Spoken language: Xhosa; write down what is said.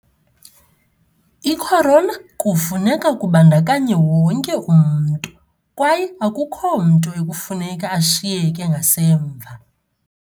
I-Corona kufuneka kubandakanye wonke umntu, kwaye akukho mntu ekufuneka ashiyeke ngasemva.